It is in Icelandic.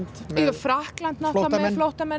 Frakkland náttúrulega með